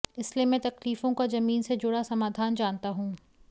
इसलिए मैं तकलीफों का जमीन से जुड़ा समाधान जानता हूं